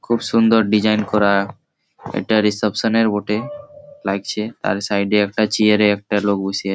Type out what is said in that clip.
খুব সুন্দর ডিসাইন করা-আ এটা রিশেপশন -এর হোটেল লাগছে। আর সাইডে একটা চিয়ারে একটা লোক বসে--